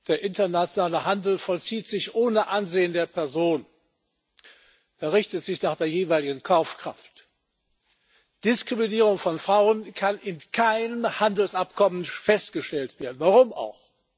Der internationale Handel vollzieht sich ohne Ansehen der Person, er richtet sich nach der jeweiligen Kaufkraft. Diskriminierung von Frauen kann in keinem Handelsabkommen festgestellt werden warum auch!